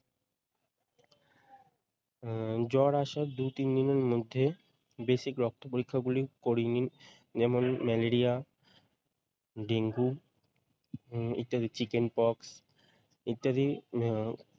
উম জ্বর আসার দুই তিনদিনের মধ্যে basic রক্ত পরীক্ষা গুলো করিয়ে নিন, যেমন ম্যালেরিয়া ডেঙ্গু উম ইত্যাদি চিকেন পক্স ইত্যাদি।